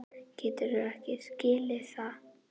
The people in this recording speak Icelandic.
Geturðu ekki skilið það?